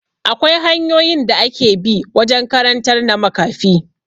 Akwai hanyoyin da ake bi wajen karantar na makafi